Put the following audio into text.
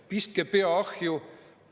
Pistke pea ahju!